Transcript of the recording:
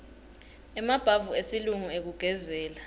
emabhavu esilungu ekugezela